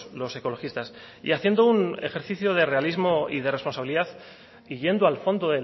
los ecologistas y haciendo un ejercicio de realismo y de responsabilidad y yendo al fondo